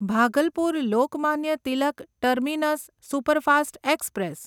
Bhagalpur Lokmanya Tilak terminus superfast express